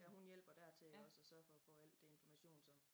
Ja hun hjælper dertil iggås og sørger for at få al det information som